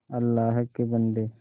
अल्लाह के बन्दे